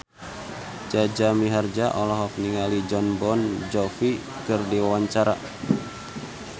Jaja Mihardja olohok ningali Jon Bon Jovi keur diwawancara